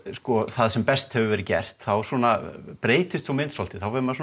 það sem best hefur verið gert þá svona breytist sú mynd svolítið þá fer maður